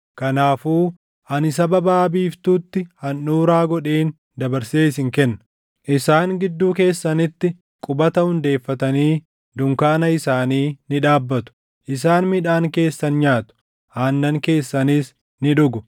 kanaafuu ani saba baʼa biiftuutti handhuuraa godheen dabarsee isin kenna. Isaan gidduu keessanitti qubata hundeeffatanii dunkaana isaanii ni dhaabbatu; isaan midhaan keessan nyaatu; aannan keessanis ni dhugu.